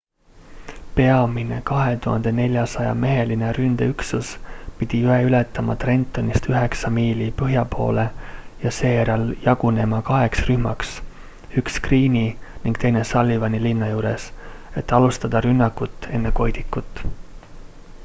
peamine 2400-meheline ründeüksus pidi jõe ületama trentonist üheksa miili põhja poole ja seejärel jagunema kaheks rühmaks üks greene'i ning teine sullivani linna juures et alustada rünnakut enne koidikut